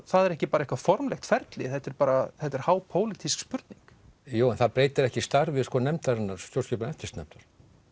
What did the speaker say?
það er ekki bara eitthvað formlegt ferli þetta er bara hápólitísk spurning jú en það breytir ekki starfi nefndarinnar stjórnskipunar og eftirlitsnefndar